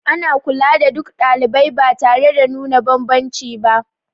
Ana kula da duk ɗalibai ba tare da nuna banbanci ba